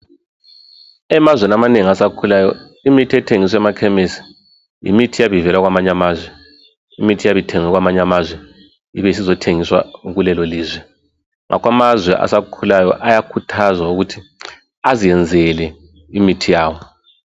Emazweni amanengi asakhulayo imithi ethengiswa emakhemesi yimithi eyabe ivela kwamanye amazwe imithi eyabe ithengwe kwamanye amazwe ibe isizothengiswa kulelo lizwe. Ngakho amazwe asakhulayo ayakhuthazwa ukuthi azenzele imithi yabo.